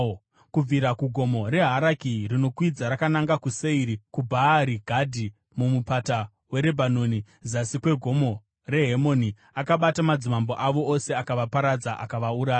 kubvira kuGomo reHaraki, rinokwidza rakananga kuSeiri, kuBhaari Gadhi muMupata weRebhanoni, zasi kweGomo reHemoni. Akabata madzimambo avo ose akavaparadza, akavauraya.